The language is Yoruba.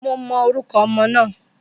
Mo mọ orúkọ ọmọ náà